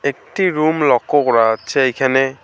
একটি রুম লক্ষ্য করা যাচ্ছে এইখানে।